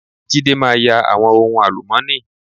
Jídé máa ya àwọn ohun àlùmọ́ọ́nì.